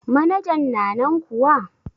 Manajan na nan kuwa?